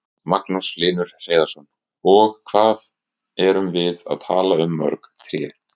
Magnús Hlynur Hreiðarsson: Og hvað erum við að tala um mörg tré?